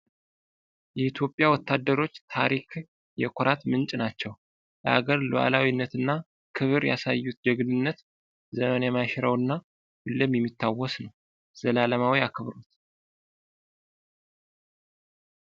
የኢትዮጵያ ወታደሮች ታሪክ የኩራት ምንጭ ናቸው። ለአገር ሉዓላዊነት እና ክብር ያሳዩት ጀግንነት ዘመን የማይሽረው እና ሁሌም የሚታወስ ነው። ዘላለማዊ አክብሮት!